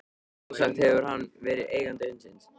Sjálfsagt hefur hann verið eigandi hundsins.